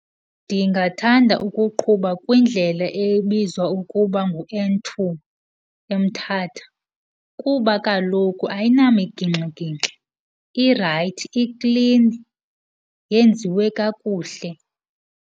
Ndingathanda ukuqhuba kwindlela ebizwa ukuba ngu-N two eMthatha kuba kaloku ayinamigingxigingxi, irayithi, iklini, yenziwe kakuhle.